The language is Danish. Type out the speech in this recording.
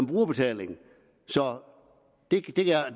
brugerbetaling så det